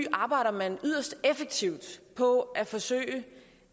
arbejder yderst effektivt på at forsøge